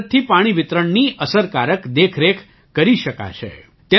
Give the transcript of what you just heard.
તેની મદદથી પાણી વિતરણની અસરકારક દેખરેખ કરી શકાશે